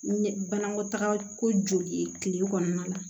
Ɲɛ banakɔtaga ko joli tile kɔnɔna la